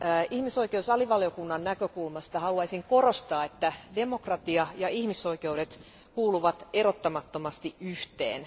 Ihmisoikeuksien alivaliokunnan näkökulmasta haluaisin korostaa, että demokratia ja ihmisoikeudet kuuluvat erottamattomasti yhteen.